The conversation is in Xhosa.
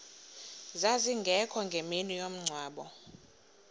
zazingekho ngemini yomngcwabo